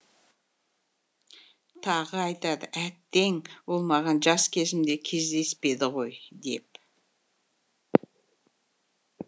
тағы айтады әттең ол маған жас кезімде кездеспеді ғой деп